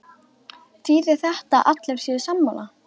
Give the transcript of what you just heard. Þýðir þetta að allir séu sammála?